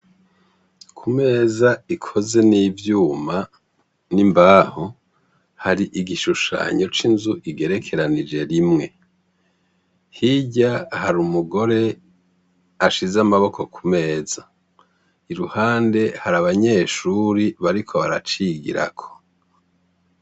Ku meza ikoze n'ivyuma n'imbaho hari igishushanyo c'inzu igerekeranije rimwe. Hirya hari umugore ashize amaboko ku meza, iruhande hari abanyeshure bariko baracigirako.